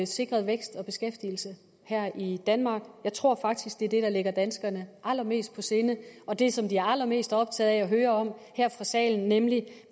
sikret vækst og beskæftigelse her i danmark jeg tror faktisk det er det der ligger danskerne allermest på sinde og det som de er allermest optaget af at høre om fra salen er nemlig